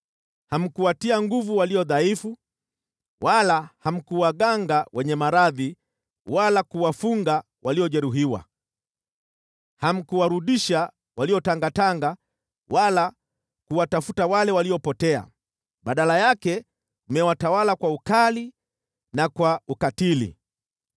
Hamkuwatia nguvu walio dhaifu wala hamkuwaganga wenye maradhi wala kuwafunga waliojeruhiwa. Hamkuwarudisha waliotangatanga wala kuwatafuta wale waliopotea. Badala yake mmewatawala kwa ukali na kwa ukatili.